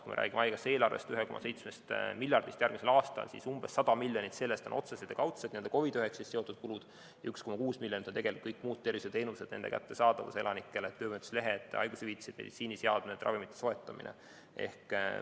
Kui me räägime haigekassa eelarvest, 1,7 miljardist järgmisel aastal, siis umbes 100 miljonit sellest on otsesed ja kaudsed COVID‑19‑ga seotud kulud ja 1,6 miljardit on kõik muud tervishoiuteenused, nende kättesaadavus elanikele, töövõimetuslehed, haigushüvitised, meditsiiniseadmed, ravimite soetamine.